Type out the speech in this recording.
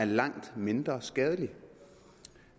langt mindre skadelig